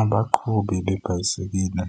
Abaqhubi beebhayisekile